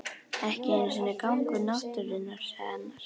Ekki einu sinni gangur náttúrunnar sagði annar.